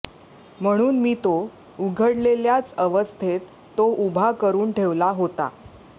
म्हणून मी तो उघडलेल्याच अवस्थेत तो उभा करून ठेवला होता